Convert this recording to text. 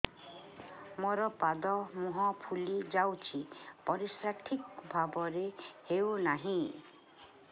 ମୋର ପାଦ ମୁହଁ ଫୁଲି ଯାଉଛି ପରିସ୍ରା ଠିକ୍ ଭାବରେ ହେଉନାହିଁ